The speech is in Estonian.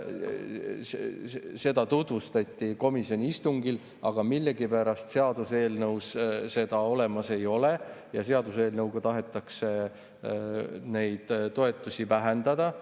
Seda tutvustati komisjoni istungil, aga millegipärast seaduseelnõus seda olemas ei ole ja seaduseelnõuga tahetakse neid toetusi vähendada.